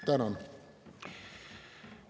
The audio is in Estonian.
Tänan!